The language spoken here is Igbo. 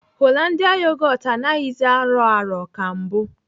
Hollandia yogot anaghịzi arọ arọ ka mbụ.